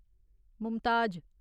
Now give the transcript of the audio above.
Mumtaz